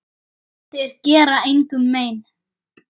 Þeir gera engum mein.